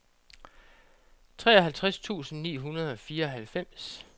treoghalvtreds tusind ni hundrede og fireoghalvfems